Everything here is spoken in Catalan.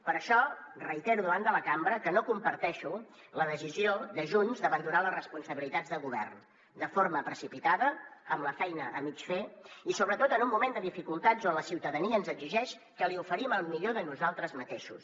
per això reitero davant de la cambra que no comparteixo la decisió de junts d’abandonar les responsabilitats de govern de forma precipitada amb la feina a mig fer i sobretot en un moment de dificultats on la ciutadania ens exigeix que li oferim el millor de nosaltres mateixos